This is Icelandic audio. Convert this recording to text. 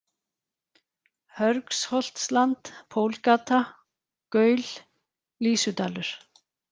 Hörgsholtsland, Pólgata, Gaul, Lýsudalur